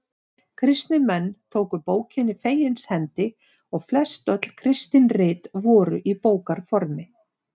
Kristnir menn tóku bókinni fegins hendi og flest öll kristin rit voru í bókarformi.